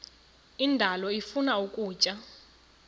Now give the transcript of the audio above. indalo ifuna ukutya